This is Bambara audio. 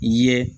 I ye